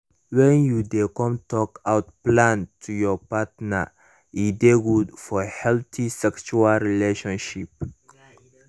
when you de com talk out plan to your partner e de good for healthy sexual relationship